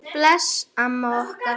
Bless amma okkar.